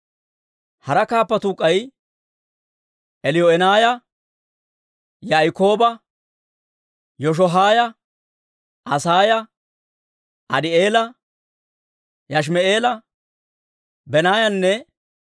Hara kaappatuu k'ay Eliyoo'enaaya, Yaa'ikooba, Yashohaaya, Asaaya, Adii'eela, Yashimi'eela, Banaayanne